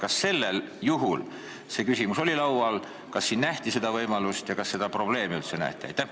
Kas sel juhul see küsimus oli laual, kas siin nähti seda võimalust ja kas seda probleemi üldse nähti?